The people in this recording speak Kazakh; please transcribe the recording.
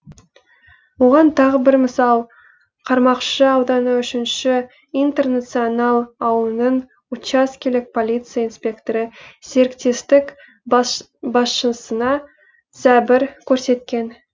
оған тағы бір мысал қармақшы ауданы үшінші интернационал ауылының учаскелік полиция инспекторы серіктестік басшысына зәбір көрсеткен